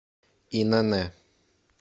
инн